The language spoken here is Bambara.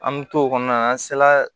An me t'o kɔnɔna na an sela